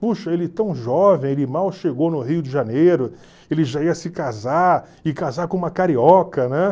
Puxa, ele tão jovem, ele mal chegou no Rio de Janeiro, ele já ia se casar, e casar com uma carioca, né?